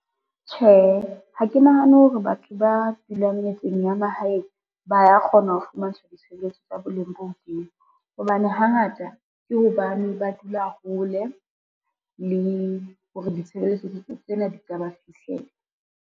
Tjhe, ha ke nahane hore batho ba dulang metseng ya mahaeng ba ya kgona ho fumantshwa ditshebeletso tsa boleng bo hodimo, hobane hangata ke hobane ba dula hole hore ditshebeletso tsena di ka ba fihlela.